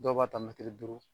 Dɔw b'a ta mɛtiri duuru